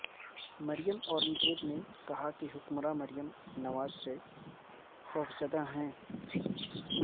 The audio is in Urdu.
مریم اورنگزیب نے کہا کہ حکمران مریم نواز سے خوفزدہ ہیں